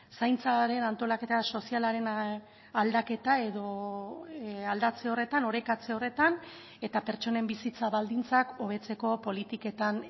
zaintzaren antolaketa sozialaren aldaketa edo aldatze horretan orekatze horretan eta pertsonen bizitza baldintzak hobetzeko politiketan